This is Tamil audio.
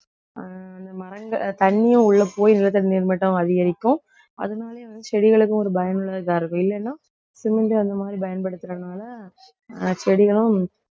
ஆஹ் அந்த மரங்க~ தண்ணியும் உள்ளே போய் நிலத்தடி நீர் மட்டம் அதிகரிக்கும். அதனாலேயே வந்து செடிகளுக்கும் ஒரு பயனுள்ளதா இருக்கும். இல்லைன்னா cement அந்த மாதிரி பயன்படுத்தறதுனால ஆஹ் செடிகளும்